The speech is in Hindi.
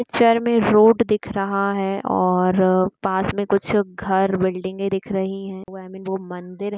पिक्चर रोड दिख रहा है और पास में कुछ घर बिल्डिंगे दिख रही है | वो मंदिर---